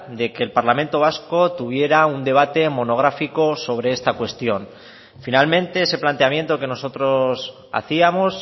de que el parlamento vasco tuviera un debate monográfico sobre esta cuestión finalmente ese planteamiento que nosotros hacíamos